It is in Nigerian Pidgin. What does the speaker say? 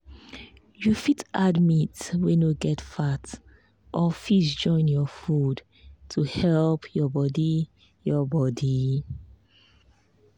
you fit add meat wey no get fat or fish join your food to help your body. your body.